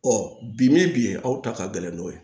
bi min bi yen aw ta ka gɛlɛn n'o ye